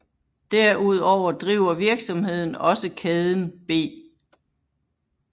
Derudover driver virksomheden også kæden B